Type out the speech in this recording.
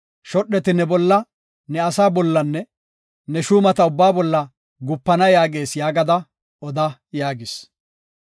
Shodheti ne bolla, ne asaa bollanne ne shuumata ubbaa bolla gupana yaagees’ yaagada oda” yaagis.